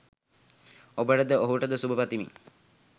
ඔබටද ඔහුටද සුභ පතමී.